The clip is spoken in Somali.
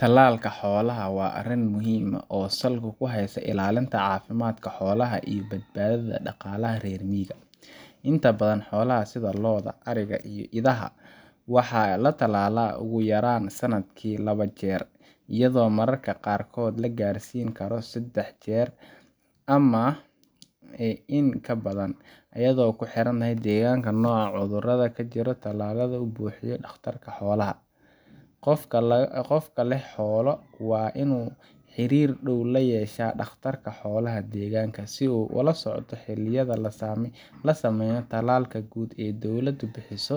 Tallaalka xoolaha waa arrin muhiim ah oo salka ku haysa ilaalinta caafimaadka xoolaha iyo badbaadada dhaqaalaha reer miyiga. Inta badan, xoolaha sida lo’da, ariga iyo idaha waxaa la tallaalaa ugu yaraan sanadkii laba jeer, iyadoo mararka qaarkood la gaarsiin karo saddex jeer ama in ka badan, iyadoo ku xiran deegaanka, nooca cudurada ka jira iyo talada uu bixiyo dhakhtarka xoolaha. Qofka leh xoolo waa in uu xiriir dhow la yeeshaa dhakhtarka xoolaha deegaanka, si uu ula socdo xilliyada la sameeyo tallaalka guud ee dowladdu bixiso